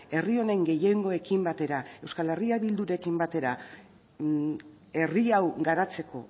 herri honen gehiengoekin batera eh bildurekin batera herri hau garatzeko